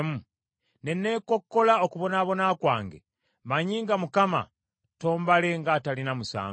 ne neekokkola okubonaabona kwange, mmanyi nga Mukama tombale ng’ataliiko musango.